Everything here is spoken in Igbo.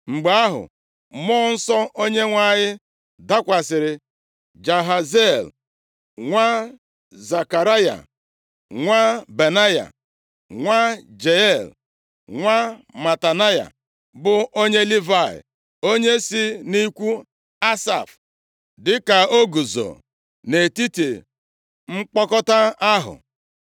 Mgbe ahụ, mmụọ Nsọ Onyenwe anyị dakwasịrị Jahaziel nwa Zekaraya, nwa Benaya, nwa Jeiel, nwa Matanaya, bụ onye Livayị, onye si nʼikwu Asaf, dịka o guzo nʼetiti mkpọkọta ahụ.